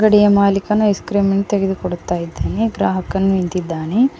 ಅಂಗಡಿಯ ಮಾಲೀಕನ ಐಸ್ ಕ್ರೀಮನ್ನು ತೆಗೆದುಕೊಡುತ್ತಿದ್ದಾನೆ ಗ್ರಾಹಕನು ನಿಂತಿದ್ದಾನೆ.